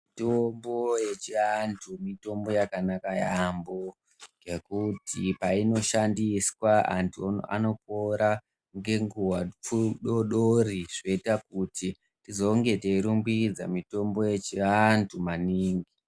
Muto.bo yechiantu mutombo yakanaka yaampo ngekuti painoshandiswa antu anopora ngenguwa pfu dodori zvoita kuti tizonge teirumbidza mutombo yechiantu maningi.